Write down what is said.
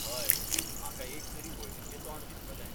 हय, म्हाका एक तरी वळखीचें तोंड दिसतलें.